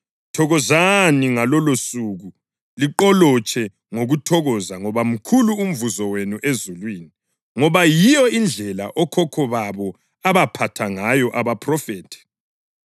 Thokozani ngalolosuku liqolotshe ngokuthokoza ngoba mkhulu umvuzo wenu ezulwini. Ngoba yiyo indlela okhokho babo abaphatha ngayo abaphrofethi.